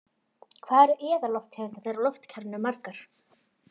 Hvað eru eðallofttegundirnar í lotukerfinu margar?